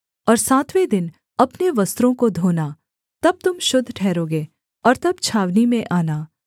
और सातवें दिन अपने वस्त्रों को धोना तब तुम शुद्ध ठहरोगे और तब छावनी में आना